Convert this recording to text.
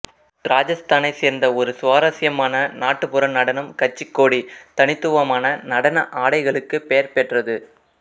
ராஜஸ்தானைச் சேர்ந்த ஒரு சுவாரஸ்யமான நாட்டுப்புற நடனம் கச்சி கோடி தனித்துவமான நடன ஆடைகளுக்கு பெயர் பெற்றது